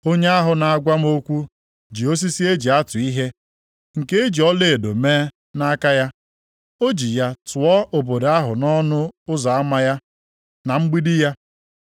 Onye ahụ na-agwa m okwu ji osisi e ji atụ ihe, nke e ji ọlaedo mee, nʼaka ya. O ji ya tụọ obodo ahụ na ọnụ ụzọ ama ya, na mgbidi ya.